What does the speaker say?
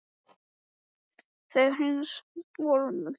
Það var hins vegar enginn vorhugur í mér.